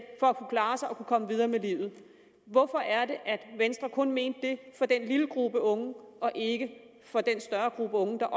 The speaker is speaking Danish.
for at kunne klare sig og kunne komme videre i livet hvorfor er det at venstre kun mente det for denne lille gruppe unge og ikke for den større gruppe unge der